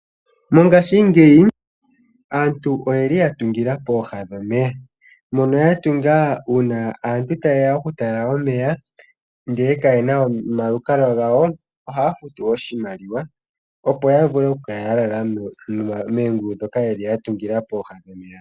Mongaashingeyi aantu oye li ya tungila pooha dhomeya, mono ya tunga uuna aantu taye ya okutala omeya ndele kayena omalukalwa gawo, ohaa futu oshimaliwa opo ya vule oku kala ya lala moongulu ndhoka ye li ya tungila pooha dhomeya.